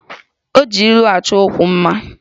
O ji ilu choo okwu ya mma